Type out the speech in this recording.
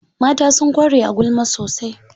Mata sun ƙware a gulma sosai.